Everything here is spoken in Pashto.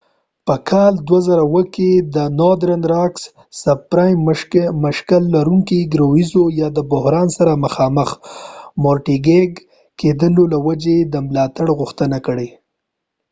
northern rock په 2007 کال کې د مشکل لرونکو ګرویو یا subprime mortgage د بحران سره د مخامخ کیدو له وجې د ملاتړ غوښتنه کړې